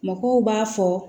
Mɔgɔw b'a fɔ